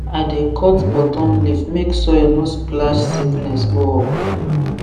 i dey cut bottom leaf make soil no splash sickness go up